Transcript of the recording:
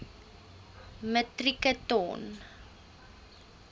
metrieke ton